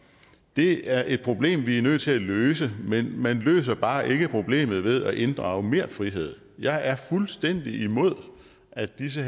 det er et problem vi er nødt til at løse men man løser bare ikke problemet ved at inddrage mere frihed jeg er fuldstændig imod at disse